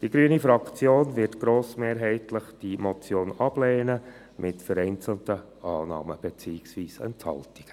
Die grüne Fraktion wird die Motion grossmehrheitlich ablehnen, mit vereinzelten Annahmen beziehungsweise Enthaltungen.